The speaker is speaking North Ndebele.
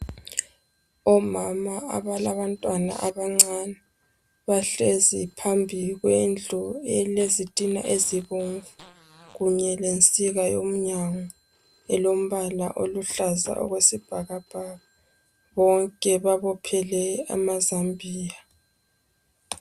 Omama abalantwana abancane. Bahlezi phambi kwendlu elezitina ezibomvu kunye lensika yomnyango, olombala oluhlaza okwesibhakabhaka. Bonke babophele amazambia.